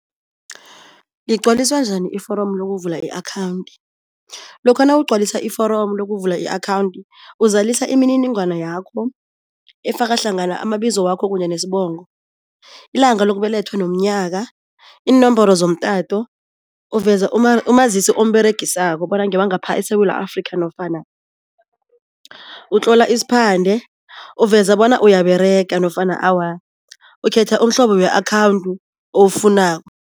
Lingcwaliswa njani iforomo lokuvula i-akhawundi? Lokha nawugcwalisa iforomo lokuvula i-akhawundi, uzalisa imininingwana yakho efaka hlangana amabizo wakho kanye nesibongo, ilanga lokubelethwa nomnyaka, iinomboro zomtato, uveza umazisi omberegisako bona ngewangapha eSewula Afrika nofana utlola isiphande, uveza bonyana uyaberega nofana awa. Ukhetha umhlobo we-akhawundi awufunako.